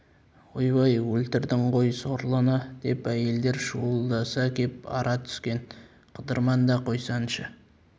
ойбай өлтірдің ғой сорлыны деп әйелдер шуылдаса кеп ара түскен қыдырман да қойсаңшы